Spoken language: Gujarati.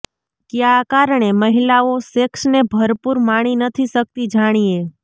ક્યા કારણે મહિલાઓ સેક્સને ભરપુર માણી નથી શકતી જાણીએ